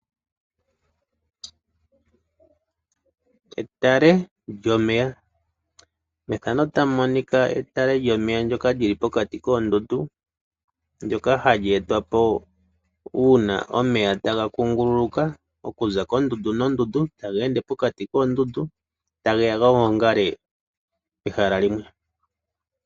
Etale lyomeya, methano otamu monika etale lyomeya ndyoka li li pokati koondundu lyoka hali etwapo uuna omeya taga kunguluka okuza kondundu nondundu tageende pokati koondundu tageya ga gongale pehala limwe.